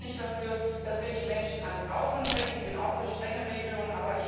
Ich bin auch nicht dafür, dass wir die Menschen ans Rauchen bringen, ich bin auch für strenge Regelungen.